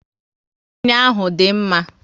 Wainu ahụ dị mma